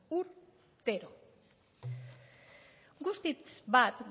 urtero guztiz bat